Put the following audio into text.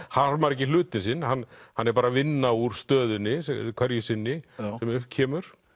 harmar ekki hlutinn sinn hann hann er bara að vinna úr stöðunni hverju sinni sem upp kemur